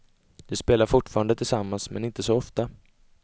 De spelar fortfarande tillsammans men inte så ofta.